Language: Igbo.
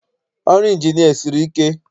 Ọrụ Ịnjinịa esiri ike?